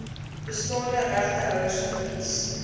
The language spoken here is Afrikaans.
bestaande regtehouers verkies